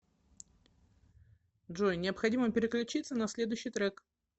джой необходимо переключиться на следующий трек